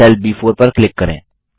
cell ब4 पर click करें